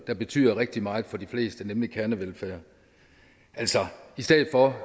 der betyder rigtig meget for de fleste nemlig kernevelfærd i stedet for